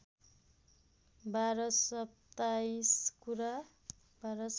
बाह्र सत्ताइस कुरा